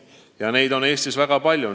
Ja neid on Eestis väga palju.